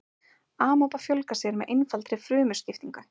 amaba fjölgar sér með einfaldri frumuskiptingu